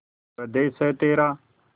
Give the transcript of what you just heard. स्वदेस है तेरा